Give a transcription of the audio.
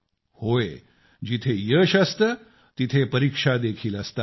होय जिथे यश असते तिथे परीक्षा देखील असतात